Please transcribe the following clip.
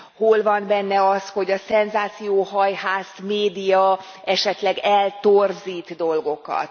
Hol van benne az, hogy a szenzációhajhász média esetleg eltorzít dolgokat.